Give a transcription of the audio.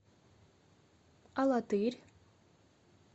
алатырь